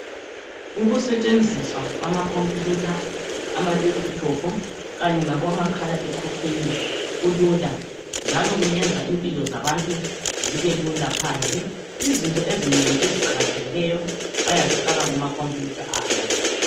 ukusetshenziswa kwama computer ama laptop kanye labo makahaa ekhukhwini kulula njalo kuyenza impilo zabantu zibelula phandle izinto ezinengi eziqakathekileyo bayazifaka kuma computer abo